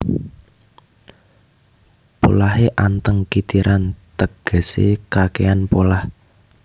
Polahé anteng kitiran tegesé kakèhan polah